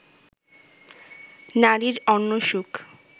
নারীর অন্য সুখ